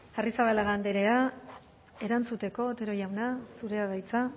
arrizabalaga andrea erantzuteko otero jauna zurea da hitza